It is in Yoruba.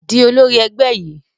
Di olórí ẹgbẹ́ yìí!